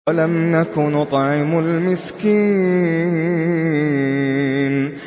وَلَمْ نَكُ نُطْعِمُ الْمِسْكِينَ